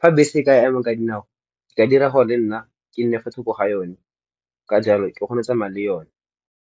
Fa bese e ka ema ka dinao nka dira gore le nna ke nne fa thoko ga yone ka jalo ke kgone go tsamaya le yone.